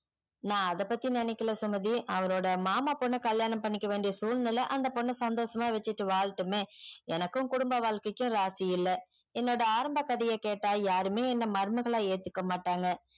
நான் அத பத்தி நெனைகில சுமதி அவளோட மாமா பொண்ண கல்யாணம் பண்ணிக்க வேண்டிய சூழ்நிலை அந்த பொண்ண சந்தோஷம் வச்சிட்டு வாழட்டுமே எனக்கு குடும்பம் வாழ்க்கைக்கு ராசி இல்ல என்னோட ஆரம்பம் கதையே கெட்டா யாருமே என்ன மருமகளா ஏத்துக்கமாட்டாங்க